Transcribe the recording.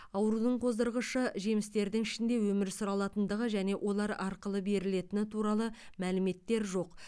аурудың қоздырғышы жемістердің ішінде өмір сүре алатындығы және олар арқылы берілетіні туралы мәліметтер жоқ